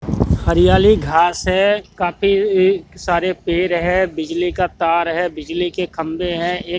हरियाली घास है काफी एक सारे पेड़ है बिजली का तार है बिजली के खंबे हैं एक--